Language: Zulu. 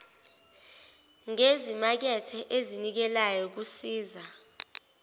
ngezimakethe ezinikelayo kusiza